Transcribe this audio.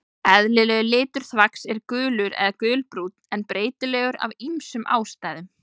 Eðlilegur litur þvags er gulur eða gulbrúnn en er breytilegur af ýmsum ástæðum.